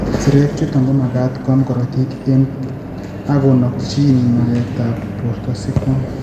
Sirek chutok komagat koam korotik ak konokchin magatetab borto sikoam